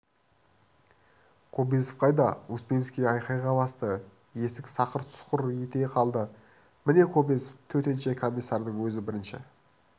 кобозев қайда успенский айқайға басты есік сақыр-сұқыр ете қалды міне кобозев деп төтенше комиссардың өзі бірінші